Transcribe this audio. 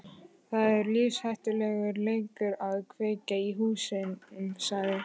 Það er lífshættulegur leikur að kveikja í húsum sagði